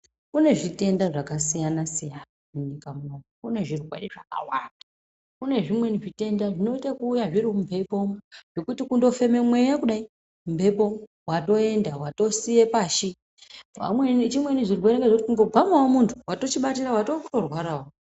Kune zvitenda zvakasiyana siyana munyika munomu, kune zvirwere zvakawanda, kune zvimweni zvitenda zvinoite ekuuya zviri mumphepo umu, zvekuti kundofeme mweya kudai mumphepo ,watoenda watosiye pashi, vamweni chimweni chirwere ngezvekuti kutogwamawo munhu, watochibatira ,watowe kutorwarawo..